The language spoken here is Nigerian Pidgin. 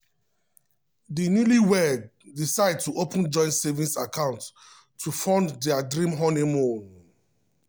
di newlyweds decide to open joint savings account to fund dia dream honeymoon.